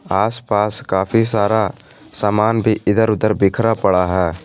आस पास काफी सारा सामान भी इधर उधर बिखरा पड़ा है।